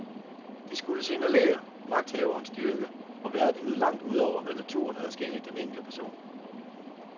De skulle signalere magthaverens styrke og værdighed langt udover, hvad naturen havde skænket den enkelte person.